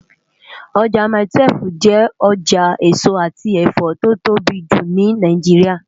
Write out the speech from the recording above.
Ojá mái-túwèf jè òjá esó ati ẹfọ tó tóbi jú ni Náijiriá